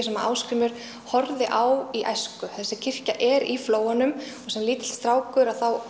sem Ásgrímur horfði á í æsku þessi kirkja er í flóanum og sem lítill strákur